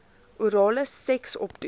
orale seks opdoen